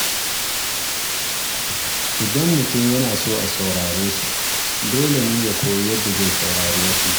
Idan mutum yana so a saurare shi, dole ne ya koyi yadda zai saurari wasu.